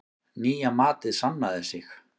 Nýja matið sannaði sig.